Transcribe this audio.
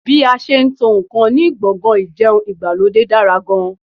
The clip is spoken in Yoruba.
Bí a ṣe n tó ǹkan ní gbọ̀ngàn ìjẹun ìgbàlódé dára gan